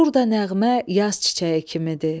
Burda nəğmə yaz çiçəyi kimidir.